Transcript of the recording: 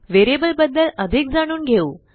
variable बद्दल अधिक जाणून घेऊ